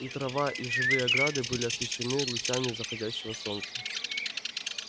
и трава и живые ограды были освещены лучами заходящего солнца